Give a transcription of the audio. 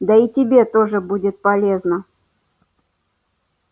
да и тебе тоже будет полезно